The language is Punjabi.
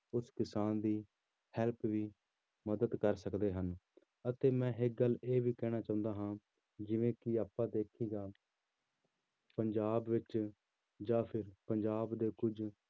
ਉਸ ਕਿਸਾਨ ਦੀ help ਵੀ ਮਦਦ ਕਰ ਸਕਦੇ ਹਨ ਅਤੇ ਮੈਂ ਇੱਕ ਗੱਲ ਇਹ ਵੀ ਕਹਿਣਾ ਚਾਹੁੰਦਾ ਹਾਂ ਜਿਵੇਂ ਕਿ ਆਪਾਂ ਦੇਖੀਦਾ ਪੰਜਾਬ ਵਿੱਚ ਜਾਂ ਫਿਰ ਪੰਜਾਬ ਦੇ ਕੁੱਝ